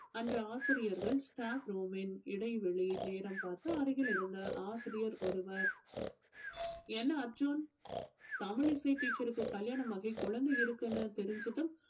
அன்று ஆசிரியர்கள் staff room ன் இடைவேளை நேரம் பார்த்து அருகில் இருந்த ஆசிரியர் ஒருவர் என்ன அர்ஜுன் தமிழிசை teacher க்கு கல்யாணம் ஆகி குழந்தை இருக்குன்னு தெரிஞ்சதும்